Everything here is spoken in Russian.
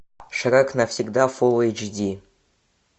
шрек навсегда фул эйч ди